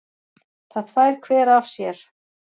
Það þvær hver af sér.